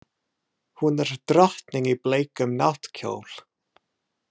Hún er drottning í bleikum náttkjól.